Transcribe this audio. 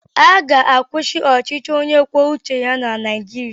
A ga-akwụsị ọchịchị onye kwuo uche ya na Naijiria.